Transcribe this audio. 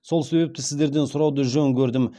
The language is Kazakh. сол себепті сөздерден сұрауды жөн көрдім